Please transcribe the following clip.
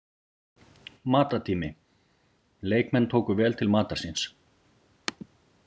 Matartími: Leikmenn tóku vel til matar síns.